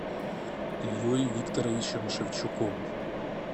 ильей викторовичем шевчуком